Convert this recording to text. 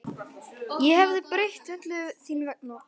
Ég hefði breytt öllu þín vegna.